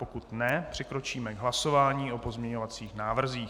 Pokud ne, přikročíme k hlasování o pozměňovacích návrzích.